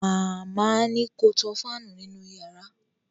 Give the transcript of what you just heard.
Màmá ni ko tan fáànù nínú yàrá